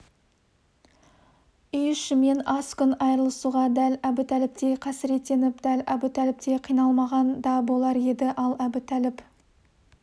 үй-ішімен аз күн айырылысуға дәл әбутәліптей қасіреттеніп дәл әбутәліптей қиналмаған да болар еді ал әбутәліп